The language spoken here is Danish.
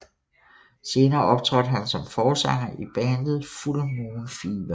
Senere optrådte han som forsanger i bandet Full Moon Fever